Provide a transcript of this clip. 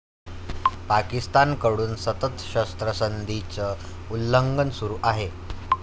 पाकिस्तानकडून सतत शस्त्रसंधीचं उल्लंघन सुरु आहे.